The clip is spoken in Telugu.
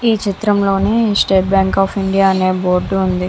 ఇ చిత్రం లోని స్టేట్ బ్యాంక్ ఆఫ్ ఇండియా అనే బోర్డ్ ఉనాది.